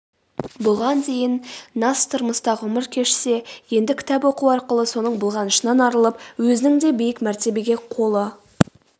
бұған дейін нас тұрмыста ғұмыр кешсе енді кітап оқу арқылы соның былғанышынан арылып өзінің де биік мәртебеге қолы